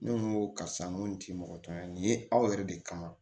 Ne ko n ko karisa n ko nin ti mɔgɔ tɔn ye nin ye aw yɛrɛ de kama